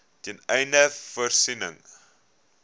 ten einde voorsiening